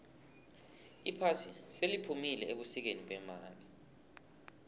iphasi seliphumile ebusikeni bemali